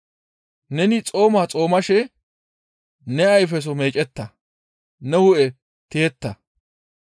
Neni xooma xoomashe ne ayfeso meecetta, ne hu7e tiyetta.